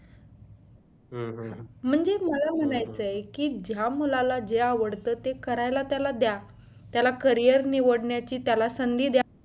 म्हणजे मला म्हणायचं आहे की हा मुलाला जे आवडतं ते करायला त्याला द्या त्याला career निवडण्याची त्याला संधी द्दा